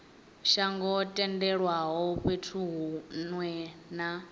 songo tendelwaho fhethu hunwe na